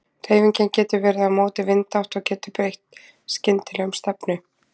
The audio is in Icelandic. Hreyfingin getur verið á móti vindátt og getur breytt skyndilega um stefnu.